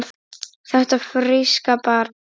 Þetta fríska barn?